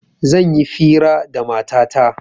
Zan yi fira da matata